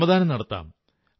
ശ്രമദാനം നടത്താം